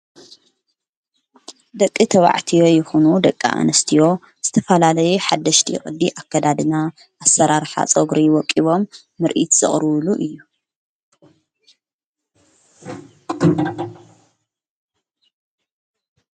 ደቂ ተዋዕትዮ ይኹኑ ደቃ እንስትዮ ዝተፋላለየ ሓደሽቲ ቕዲ ኣከዳድና ኣሠራርኃፆግሪ ወቂቦም ምርኢት ዘቕርዉሉ እዩ።